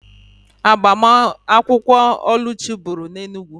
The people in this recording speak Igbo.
Agbamakwụkwọ Oluchi bụrụ na Enugwu